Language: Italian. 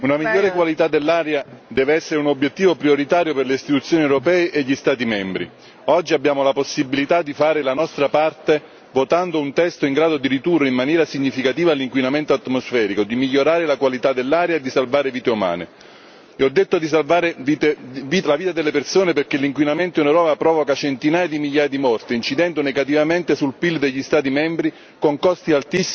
Signora Presidente, onorevoli colleghi, una migliore qualità dell'aria deve essere un obiettivo prioritario per le istituzioni europee e gli Stati membri. Oggi abbiamo la possibilità di fare la nostra parte, votando un testo in grado di ridurre in maniera significativa l'inquinamento atmosferico, di migliorare la qualità dell'aria e di salvare vite umane. E ho parlato di salvare la vita delle persone, perché l'inquinamento in Europa provoca centinaia di migliaia di morti, incidendo negativamente sul PIL degli Stati membri, con costi altissimi collegati alla salute.